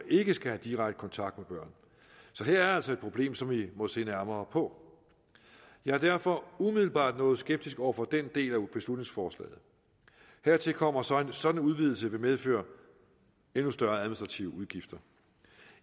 ikke skal have direkte kontakt med børn så her er altså et problem som vi må se nærmere på jeg er derfor umiddelbart noget skeptisk over for den del beslutningsforslaget hertil kommer så at en sådan udvidelse vil medføre større administrative udgifter